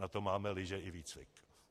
Na to máme lyže i výcvik!